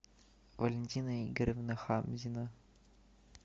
валентина игоревна хамзина